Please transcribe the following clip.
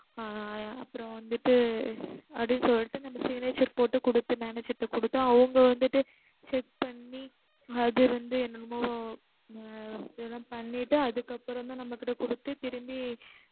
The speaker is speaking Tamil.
ஆஹ் அப்பறம் வந்துட்டு, அப்படின்னு சொல்லிட்டு நம்ம signature போட்டு குடுத்து manager ட குடுத்தா அவுங்க வந்துட்டு check பண்ணி அதுல இருந்து என்னமோ ஆஹ் இதலாம் பண்ணிட்டு அதுக்கு அப்பறம் தான் நம்மகிட்ட குடுத்து திரும்பி